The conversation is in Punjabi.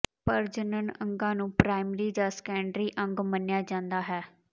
ਪ੍ਰਜਨਨ ਅੰਗਾਂ ਨੂੰ ਪ੍ਰਾਇਮਰੀ ਜਾਂ ਸੈਕੰਡਰੀ ਅੰਗ ਮੰਨਿਆ ਜਾਂਦਾ ਹੈ